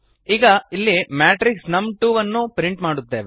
ಈಗ ಇಲ್ಲಿ ಮ್ಯಾಟ್ರಿಕ್ಸ್ ನಮ್2 ವನ್ನು ಪ್ರಿಂಟ್ ಮಾಡುತ್ತೇವೆ